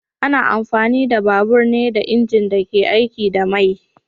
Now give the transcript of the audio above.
Ana amfani da babur ne da injin da ke aiki da mai